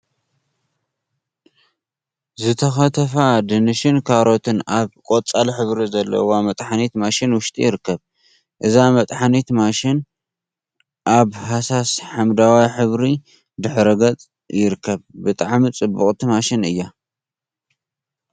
ዝተከተፉ ድንሽን ካሮትን ኣብ ቆጻል ሕብሪ ዘለዋ መጥሓኒት ማሽን ውሽጢ ይርከብ። እዛ መጥሓኒት ማሽን ኣብ ሃሳስ ሓመደዋይ ሕብሪ ድሕረ ገጽ ይርከብ። ብጣዕሚ ጽብቅቲ ማሽን እያ።